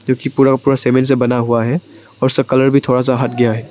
जोकि पूरा का पूरा सीमेंट से बना हुआ है और उसका कलर भी थोड़ा सा हट गया है।